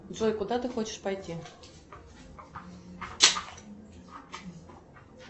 джой куда ты хочешь пойти